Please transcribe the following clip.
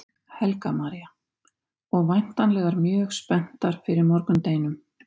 Helga María: Og væntanlegar mjög spenntar fyrir morgundeginum?